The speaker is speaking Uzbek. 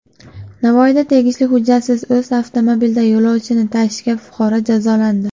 Navoiyda tegishli hujjatsiz o‘z avtomobilida yo‘lovchi tashigan fuqaro jazolandi.